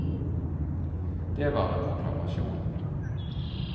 Det var en proklamasjon.